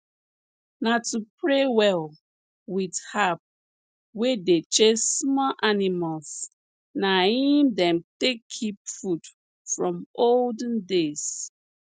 na to pray well with herb wey dey chase small animals na im dem take keep food from olden days